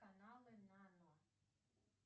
каналы нано